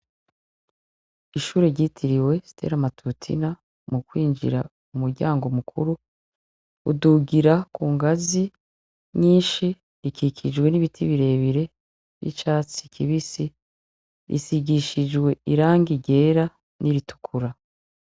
Ishure ryitiriwe steli amatutina mu kwinjira mu muryango mukuru udugira ku ngazi nyinshi rikikijwe n'ibitibirebire vy'icatsi kibisi risigishijwe iranga ryera n'iritukura.